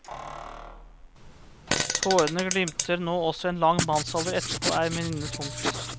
Tårene glimter nå også, en lang mannsalder etterpå er minnet tungt.